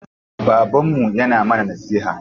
Babanmu yana mana nasiha.